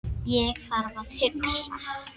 Ég þarf að hugsa.